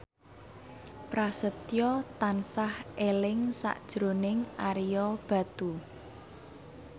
Prasetyo tansah eling sakjroning Ario Batu